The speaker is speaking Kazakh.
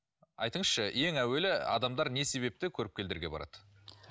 айтыңызшы ең әуелі адамдар не себепті көріпкелдерге барады